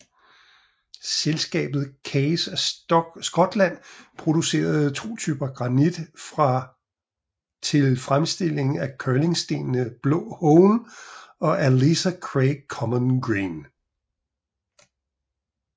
Selskabet Kays of Scotland producerede to typer granit fra til fremstilling af curlingstenene Blå Hone og Ailsa Craig Common Green